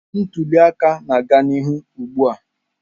Ntuli aka na-aga n'ihu ugbu a.